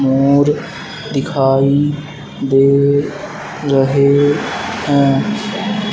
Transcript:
मोर दिखाई दे रहे हैं।